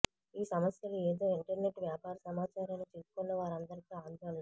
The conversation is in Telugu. ఈ సమస్యలు ఏదో ఇంటర్నెట్ వ్యాపార సమాచారాన్ని చిక్కుకున్న వారందరికీ ఆందోళన